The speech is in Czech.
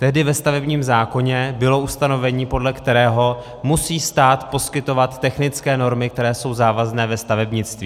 Tehdy ve stavebním zákoně bylo ustanovení, podle kterého musí stát poskytovat technické normy, které jsou závazné ve stavebnictví.